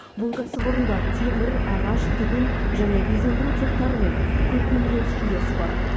бұл кәсіпорында темір ағаш тігін және безендіру цехтары мен көркемөнер студиясы бар